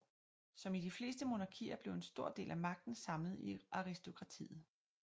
Som i de fleste monarkier blev en stor del af magten samlet i aristokratiet